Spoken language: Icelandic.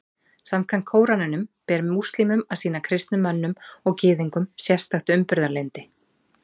Samkvæmt Kóraninum ber múslímum að sýna kristnum mönnum og Gyðingum sérstakt umburðarlyndi.